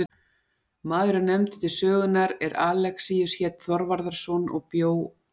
Maður er nefndur til sögunnar er Alexíus hét Þorvarðarson og bjó að